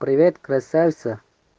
привет красавица